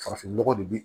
Farafin nɔgɔ de bi